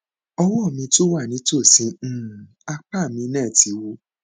ọwọ mi tó wà nítòsí um apá mi náà ti wú